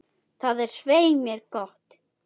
Það er svei mér gott.